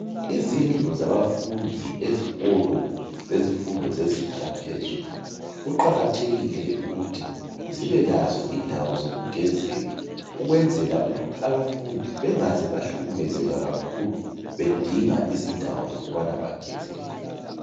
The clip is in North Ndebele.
Izindlu zabafundi zezikolo zezifundo zezinga laphezulu kuqakathekile ukuthi zibele lazo indawo zokugezela ukwenzela ukuthi abafundi bengaze bahlukumezeka kakhulu bedinga indawo zokugezela.